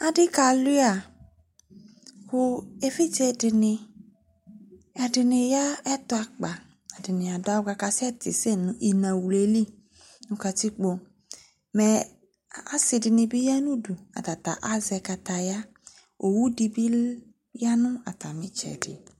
Asi kalua ku evidze dini ɛdini ya ɛtu akpa ɛdini adu awu kakasɛ ti sɛ nu inaɣlu yɛli nu katikpo mɛ asidini bi ya nu atamidu atata azɛ kataya owu di bi ya nu atami itsɛdi